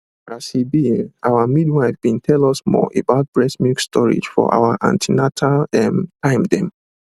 as e be[um]our midwife bin tell us more about breast milk storage for our an ten atal ehm time dem